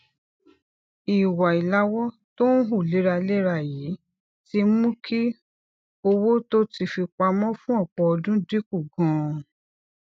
ìwà ilàwó tó ń hù léraléra yìí ti mú kí owó tó ti fi pamó fún òpò ọdún dínkù ganan